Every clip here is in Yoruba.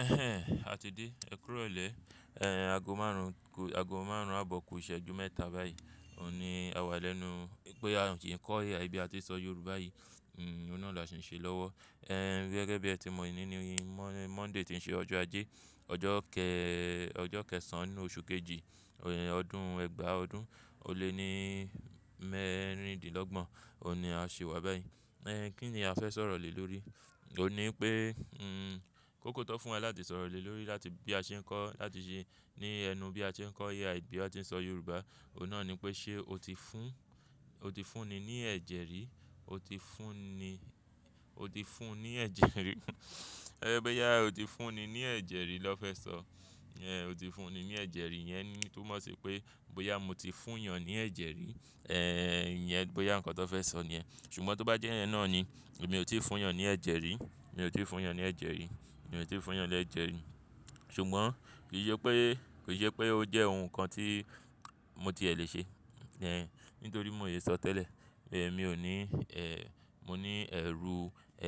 Ẹhẹ́n, a ti dé. Èkúrọ̀lẹ́, ẹ́, ago márùn-ún, ago márùn-ún àbọ̀ ku iṣẹ́ju mẹ́ta báyìí. O ní a wà lẹ́nu pé a ń ṣe kọ́ ẹ̀ya bí àti sọ Yorùbá yìí. Hmm, òun náà là ṣì ń ṣe lọ́wọ́. Ẹ̀, gẹ́gẹ́ bí ẹ ti mọ̀ ení ní yìí, Monday ti ń ṣe ọjọ́ ajé, ọjọ́ kẹ-- ọjọ́ kẹsàn-án nínú oṣù kejì, ọdún ẹgbàá ọdún, ò lé ní mẹ́rindínlọ́gbọ̀n. O ní a ṣe wà báyìí. Ẹ̀, kí ni a fẹ́ sọ̀rọ̀ lè lórí? O ní pé, hmm, kókó tó fún wà láti sọ̀rọ̀ lè lórí láti bí a ṣe ń kọ́, láti ṣe ní ẹnu bí a ṣe ń kọ́ ai bí àti sọ Yorùbá, òun náà ni pé ṣe o ti fún, o ti fúnni ní ẹ̀jẹ̀ rí? O ti fúnni, o ti fún ní ẹ̀jẹ̀ rí. Ẹ̀, bóyá o ti fúnni ní ẹ̀jẹ̀ rí lọ́ fẹ́ sọ. Ẹ̀, o ti fúnni ní ẹ̀jẹ̀ rí yẹn ni tó mọ̀ sí pé bóyá mo ti fún èèyàn ní ẹ̀jẹ̀ rí. Ẹ̀, ìyẹn bóyá nǹkan tó fẹ́ sọ ni ẹ. Ṣùgbọ́n tó bá jẹ́ yẹ́n náà ni, èmi ò tíì fún yàn ní ẹ̀jẹ̀ rí. Èmi ò tíì fún yàn ní ẹ̀jẹ̀ rí. Èmi ò tíì fún yàn ní ẹ̀jẹ̀ rí. Ṣùgbọ́n kì sẹ pé, kì sẹ pé ó jẹ́ ohun kan tí mo tiè lè ṣe. Ẹ̀, nítorí mo lè sọ tẹ́lẹ̀. Ẹ̀, mi ò ní, ẹ́, mo ní ẹ̀rù,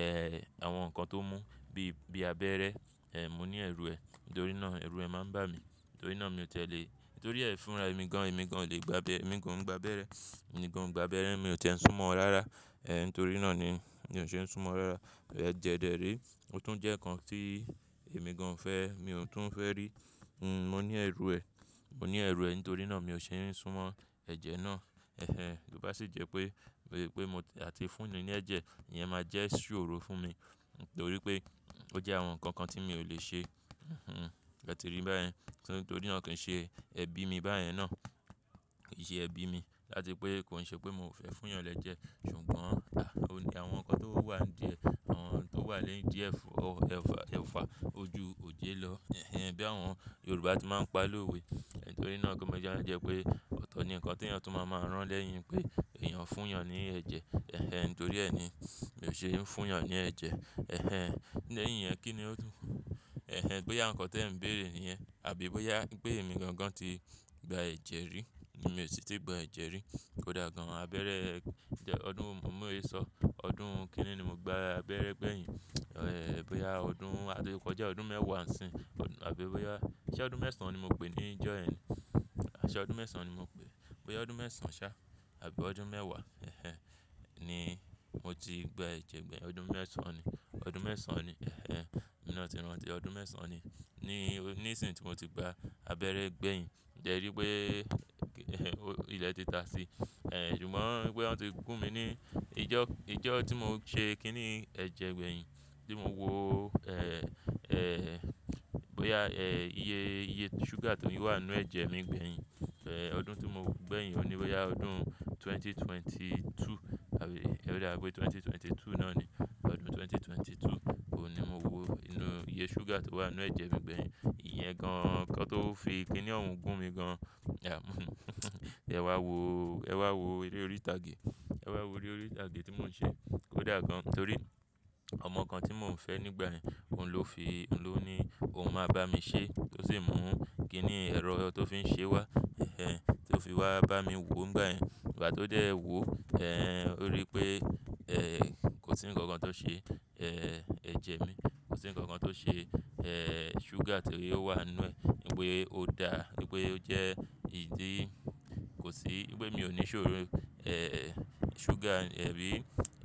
ẹ́, àwọn nǹkan tó mú bí, bíi abẹ́rẹ́. Ẹ̀, mo ní ẹ̀rù ẹ́. Nítorí náà ẹ̀rù ẹ́ máa ń bà mí. Nítorí náà mi ò tẹ́lẹ̀. Nítorí ẹ́ fúnra èmi gan-an, èmi gan-an le gba abẹ́, èmi kò ń gba abẹ́rẹ́. Èmi gàń n gba abẹ́rẹ́, mi ò tẹ́ ń súnmọ́ ọ́ rárá. Ẹ̀, nítorí náà ni mi ò ṣe ń súnmọ́ ọ́ rárá. Ẹ̀, jẹẹ̀ dẹ̀ ré, ó tún jẹ́ nǹkan tí èmi gan-an fẹ́, mi ò tún fẹ́ rí. Hmm, mo ní ẹ̀rù ẹ́. Mo ní ẹ̀rù ẹ́ nítorí náà mi ò ṣe ń súnmọ́ ẹ̀jẹ̀ náà. Ẹhẹ́n, bó bá sì jẹ́ pé, bóyá pé mo ati fúnni ní ẹ̀jẹ̀, ìyẹn máa jẹ́ ìṣòro fún mi. Nítorí pé ó jẹ́ àwọn nǹkan kan tí mi ò lè ṣe. Hmm-mm, ẹ ti ríi báyìí. Nítorí náà kì í ṣe ẹbí mi báyìí náà. Kì í ṣe ẹbí mi láti pé kò ń ṣe pé mo fẹ́ fún yàn lẹ́jẹ̀. Ṣùgbọ́n, à, ó ní àwọn nǹkan tó wà ní idí eẹ̀, àwọn tó wà lẹ́yìn díẹ̀, ò, ẹ̀fà, ẹ̀fà ojú òjè lọ. Ẹhẹ́n, bí àwọn Yorùbá tí máa ń pa lówe. Nítorí náà kí mo jẹ́ ẹ́ jẹ́ pé ọ̀tọ̀ ni nǹkan tí èèyàn tún máa máa rán lẹ́yìn pé èèyàn fún èèyàn ní ẹ̀jẹ̀. Ẹhẹ́n, nítorí ẹ́ ni mi ò ṣe ń fún èèyàn ní ẹ̀jẹ̀. Ẹhẹ́n, lẹ́yìn yẹn kí ni ó dùn? Ẹhẹ́n, bóyá nǹkan tí ẹ ń bèèrè níyen. Àbí bóyá pé èmi gan-an tí gba ẹ̀jẹ̀ rí. Mi ò sì tí gba ẹ̀jẹ̀ rí. Kódà gan-an abẹ́rẹ́, ẹ̀, ọdún, mo lè sọ ọdún kínní ni mo gba abẹ́rẹ́ gbẹ̀yìn. Ẹ̀, bóyá ọdún, àti kọjá ọdún mẹ́wàá ń sin. Àbí bóyá ṣẹ́ ọdún mẹ́sàn-án ni mo pè níjọ́ ẹ ni. Aṣẹ ọdún mẹ́sàn-án ni mo pè é. Bóyá ọdún mẹ́sàn-án ṣá àbí ọdún mẹ́wàá, ẹhẹ́n, ni mo ti gba ẹ̀jẹ̀ gbẹ̀yìn. Ọdún mẹ́sàn-án ni. Ọdún mẹ́sàn-án ni, ẹhẹ́n. Emi ná ti rántí, ọdún mẹ́sàn-án ni. Ni, ní ìsìn tí mo ti gba abẹ́rẹ́ gbẹ̀yìn. Ǹjẹ́ ríi pé, ilẹ̀ ti ta sí i. Ẹ̀, ṣùgbọ́n bóyá wọ́n ti gún mi ní ijọ́, ijọ́ tí mò ń ṣe kíni ẹ̀jẹ̀ gbẹ̀yìn tí mò ń wò. Ẹ̀, ẹ́, bóyá, ẹ́, iye, iye súgà tó ní wà nínú ẹ̀jẹ̀ mi gbẹ̀yìn. Ẹ́, ọdún tí mò wo gbẹ̀yìn òun ní, bóyá ọdún ẹgbẹ̀rún méjì ó lé méjìlélógún, àbí, ẹ wéẹ̀ odá pé ẹgbẹ̀rún méjì ó lé méjìlélógún náà ni. Ọdún ẹgbẹ̀rún méjì ó lé méjìlélógún, òun ni mo wò inú iye súgà tó wà nínú ẹ̀jẹ̀ mi gbẹ̀yìn. Ìyẹn gan-an nǹkan tó fi kíni òun gún mi gan-an. Ẹ wá wò, ẹ wá wò eré orí ìtàgé. Ẹ wá wò eré orí ìtàgé tí mò ń ṣe. Kódà gan-an nítorí ọmọ kan tí mò ń fẹ́ nígbà yẹn, òun ló fi, òun ló ní òun máa bá mi ṣe tó sì mú kíni ẹ̀rọ tó fi ń ṣe wá. Ẹhẹ́n, tó fi wá bá mi wò nígbà yẹn. Ìgbà tó dẹ́ ẹ wò, ẹ́, ó rí pé, ẹ́, kò sí nǹkan kan tó ṣe, ẹ́, ẹ̀jẹ̀ mi. Kò sí nǹkan kan tó ṣe, ẹ́, súgà ti oó wà nínú ẹ. Nípè ẹ ò dá, nípè oo jẹ́ ìdí, kò sí, nípè mí ò ní ìṣòro, ẹ́, súgà, abí,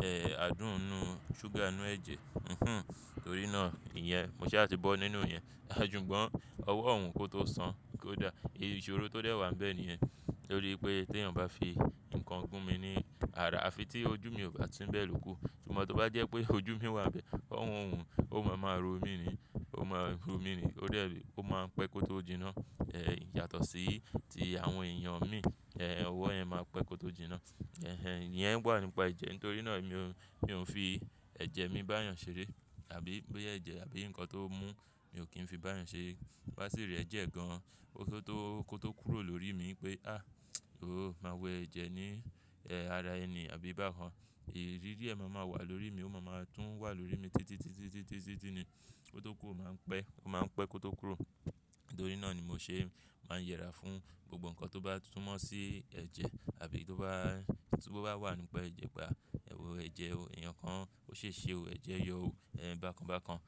ẹ́, adùn inú súgà nínú ẹ̀jẹ̀. Hmm-mm, nítorí náà ìyẹn, mo ṣàti bọ́ nínú ìyẹn. Sugbon ọwọ́ òun kó tó san kó dà. Ìṣòro tó dẹ́ wà níbẹ̀ niyẹn. Nítorí pé tí èèyàn bá fi nǹkan gún mi ní ara, à fi tí ojú mi ò bá si ń bẹ́ẹ̀ ló kú. Ṣùgbọ́n tó bá jẹ́ pé ojú mi wà nbẹ̀, ọwọ́ òun ó máa máa ro mí ni. Ó máa ń ro mí ni. Nítorí ẹbí, ó máa ń pẹ́ kó tó jiná. Ẹ̀, yàtọ̀ sí ti àwọn èèyàn mi. Ẹ́, ọwọ́ ẹ́ máa pẹ́ kó tó jiná. Ẹhẹ́n, ìyẹn wà nípa ẹ̀jẹ̀. Nítorí náà emi ò, mi ò ń fi ẹ̀jẹ̀ mi bá èèyàn ṣeré. Àbí bóyá ẹ̀jẹ̀ àbí nǹkan tó mú, mi ò kí ń fi bá èèyàn ṣeré. Bá sì rí ẹ̀jẹ̀ gan-an kó tó, kó tó kúrò lórí mi pé, "Á, ò, máa wo ẹ̀jẹ̀ ní, ẹ́, ara ẹni àbí bákan." Ìrí rí ẹ máa máa wà lórí mi, ó máa máa tún wà lórí mi títí, títí, títí, títí ni. Ko tó kúrò máa ń pẹ́. Ó máa ń pẹ́ kó tó kúrò. Nítorí náà ni mo ṣe máa ń yẹra fún gbogbo nǹkan tó bá súnmọ̀ sí ẹ̀jẹ̀. Àbí tó bá, tó bá wà nípa ẹ̀jẹ̀, pa, ẹ wọ ẹ̀jẹ̀ o, èèyàn kan ó ṣe é ṣe o, ẹ̀jẹ̀ yọ o, ẹ́, bákan bákan.